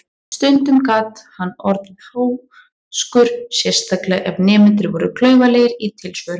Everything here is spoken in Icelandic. Stundum gat hann orðið háðskur, sérstaklega ef nemendur voru klaufalegir í tilsvörum.